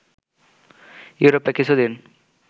ইউরোপে কিছু দিন